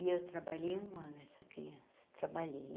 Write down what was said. E eu trabalhei um ano, essa criança, trabalhei.